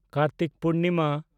Kartik Purnima